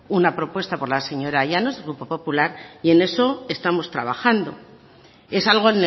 una propuesta por la señora llanos del grupo popular y en eso estamos trabajando es algo